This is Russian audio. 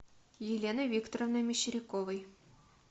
еленой викторовной мещеряковой